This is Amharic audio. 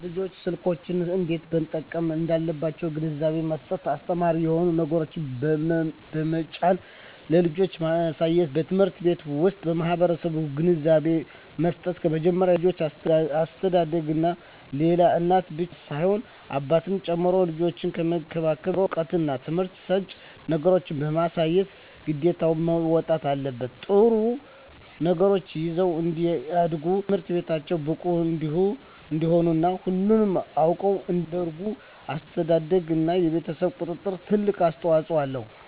ልጆች ስልኮችን እንዴት መጠቀም እንዳለባቸዉ ግንዛቤ መስጠት አስተማሪ የሆኑ ነገሮችን በመጫን ለልጆች ማሳየትበትምህርት ቤት ዉስጥ በመምህራን ግንዛቤ መስጠት ከመጀመሪያዉ የልጆች አስተዳደግላይ እናት ብቻ ሳትሆን አባትም ጭምር ልጆችን ከመንከባከብ ጀምሮ እዉቀትና ትምህርት ሰጭ ነገሮችን በማሳየት ግዴታቸዉን መወጣት አለባቸዉ ጥሩ ነገሮችን ይዘዉ እንዲያድጉ በትምህርታቸዉ ብቁ እንዲሆኑ እና ሁሉንም ነገር አዉቀዉ እንዲያድጉ አስተዳደርግ እና የቤተሰብ ቁጥጥር ትልቅ አስተዋፅኦ አለዉ